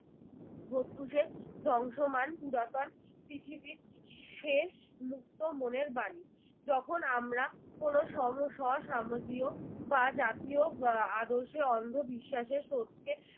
প্রত্যুষের ধ্বংসমান পুরাতন পৃথিবীর শেষ মুক্তমনের বাণী। যখন আমরা কোন সম স সামজিও বা জাতীয় বা আদর্শের অন্ধ বিশ্বাসের স্রোতকে